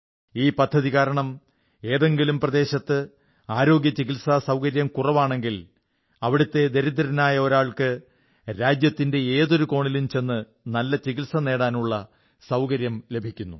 ഈ പദ്ധതി കാരണം ഏതെങ്കിലും പ്രദേശത്ത് ആരോഗ്യചികിത്സാ സൌകര്യം കുറവാണെങ്കിൽ അവിടത്തെ ദരിദ്രനായ ഒരാൾക്ക് രാജ്യത്തിന്റെ ഏതൊരു കോണിലും ചെന്ന് നല്ല ചികിത്സ നേടാനുള്ള സൌകര്യം ലഭിക്കുന്നു